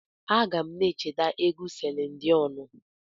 Aga m na-echeta egwu Selin Diọnụ.